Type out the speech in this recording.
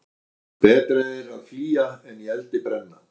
Betra er að flýja en í eldi brenna.